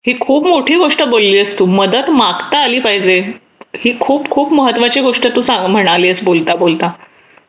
ही खूप मोठी गोष्ट बोललीस तू की मदत मागता आली पाहिजे ही खूप खूप महत्त्वाची गोष्ट तू म्हणाली आहेस बोलता बोलता